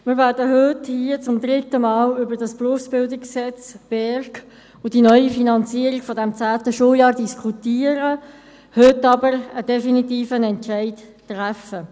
Wir werden hier zum dritten Mal über das BerG und die neue Finanzierung dieses zehnten Schuljahrs diskutieren, heute werden wir aber einen definitiven Entscheid treffen.